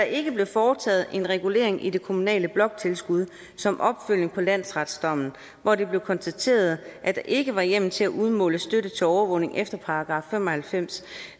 ikke blev foretaget en regulering i det kommunale bloktilskud som opfølgning på landsretsdommen hvor det blev konstateret at der ikke var hjemmel til at udmåle støtte til overvågning efter § fem og halvfems